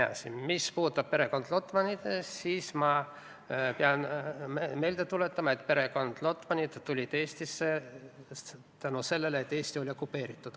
Edasi, mis puudutab perekond Lotmanit, siis ma pean meelde tuletama, et Lotmanid tulid Eestisse seetõttu, et Eesti oli okupeeritud.